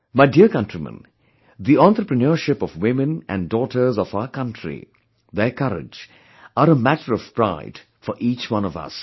My dear countrymen, the entrepreneurship of women and daughters of our country, their courage, are a matter of pride for each one of us